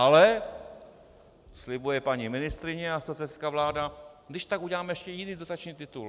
Ale slibuje paní ministryně a socialistická vláda: když tak uděláme ještě jiný dotační titul.